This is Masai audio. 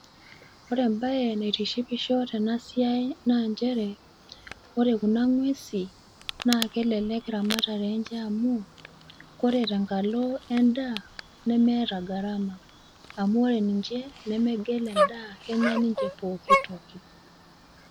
ore ebae naitishipisho tenasiai naa nchere ore kuna ng'uesi, naa kelelek ramatare enche amu, ore tenkalo edaa nemeeta gharama aamu ore ninche nemegel edaa kenya ninche pooki toki.